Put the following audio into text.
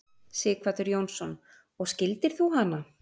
Sighvatur Jónsson: Og skildir þú hana?